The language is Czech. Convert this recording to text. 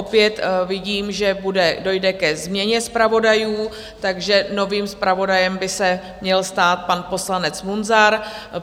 Opět vidím, že dojde ke změně zpravodajů, takže novým zpravodajem by se měl stát pan poslanec Munzar.